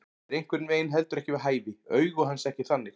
Er einhvern veginn heldur ekki við hæfi, augu hans ekki þannig.